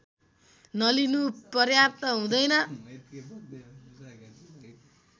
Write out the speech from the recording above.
नलिनु पर्याप्त हुँदैन